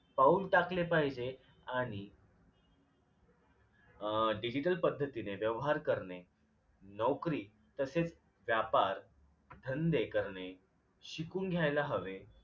पाऊल टाकले पाहिजे आणि अं digital पद्धतीने व्यवहार करणे नोकरी तसेच व्यापार धंदे करणे शिकून घ्यायला हवे